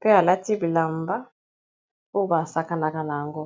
pe alati bilamba o basakanaka na yango